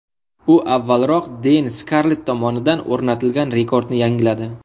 U avvalroq Deyn Skarlett tomonidan o‘rnatilgan rekordni yangiladi.